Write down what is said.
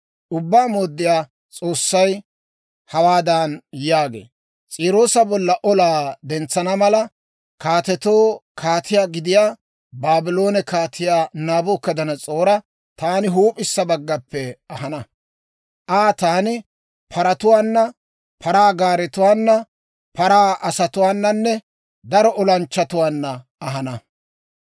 «Ubbaa Mooddiyaa S'oossay hawaadan yaagee; ‹S'iiroosa bolla olaa dentsana mala, kaatetoo kaatiyaa gidiyaa Baabloone Kaatiyaa Naabukadanas'oora taani huup'issa baggappe ahana; Aa taani paratuwaana, paraa gaaretuwaana, paraa asatuwaananne daro olanchchatuwaanna ahana.